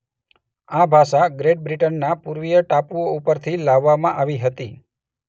આ ભાષા ગ્રેટ બ્રિટનના પૂર્વીય ટાપુઓ ઉપરથી લાવવામાં આવી હતી.